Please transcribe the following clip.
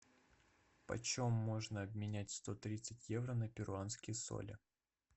почем можно обменять сто тридцать евро на перуанские соли